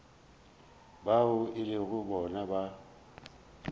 bao e lego bona ba